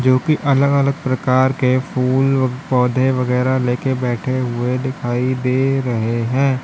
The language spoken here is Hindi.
जो कि अलग अलग प्रकार के फूल पौधे वगैरा लेके बैठे हुए दिखाई दे रहे है।